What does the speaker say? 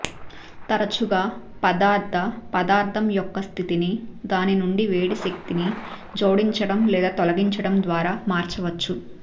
తరచుగా పదార్ధ పదార్థం యొక్క స్థితిని దాని నుండి వేడి శక్తిని జోడించడం లేదా తొలగించడం ద్వారా మార్చవచ్చు